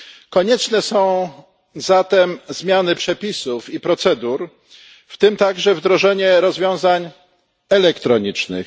Konieczne są zatem zmiany przepisów i procedur, w tym także wdrożenie rozwiązań elektronicznych.